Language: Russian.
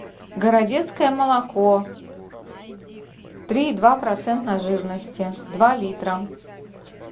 городецкое молоко три и два процента жирности два литра